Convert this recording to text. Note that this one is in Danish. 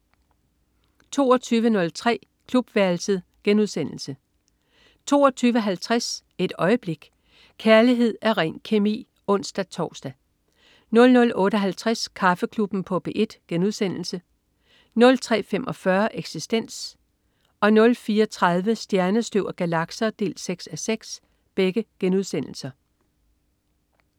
22.03 Klubværelset* 22.50 Et øjeblik. Kærlighed er ren kemi! (ons-tors) 00.58 Kaffeklubben på P1* 03.45 Eksistens* 04.30 Stjernestøv og galakser 6:6*